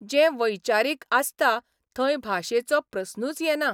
जें वैचारीक आसता थंय भाशेचो प्रस्नूच येना.